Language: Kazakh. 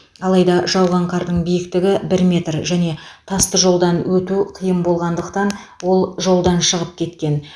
алайда жауған қардың биіктігі бір метр және тасты жолдан өту қиын болғандықтан ол жолдан шығып кеткен